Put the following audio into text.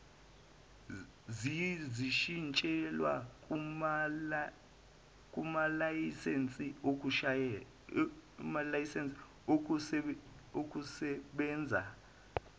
zishintshelwe kumalayisense okusebenza